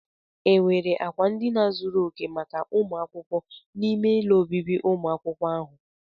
Enwere akwa ndina zuru oke maka ụmụ akwụkwọ n'ime ụlọ ọbịbị umụ akwukwo ahụ?